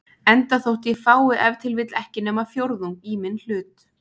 enda þótt ég fái ef til vill ekki nema fjórðung í minn hlut.